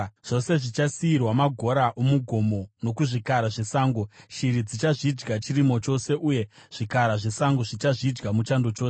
Zvose zvichasiyirwa magora omugomo nokuzvikara zvesango; shiri dzichazvidya chirimo chose, uye zvikara zvesango zvichazvidya muchando chose.